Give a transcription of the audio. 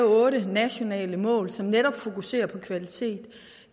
otte nationale mål op som netop fokuserer på kvalitet